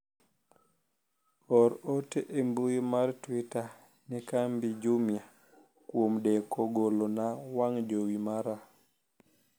or ote e mbui mar twita ne kambi jumia kuom deko golona wang' jowi mara